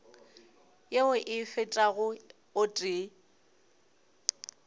yeo e fetago o tee